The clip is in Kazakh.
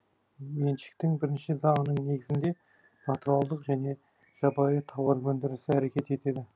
меншіктің бірінші заңының негізінде натуралдық және жабайы тауар өндірісі әрекет етеді